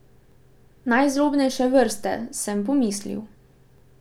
Najzlobnejše vrste, sem pomislil.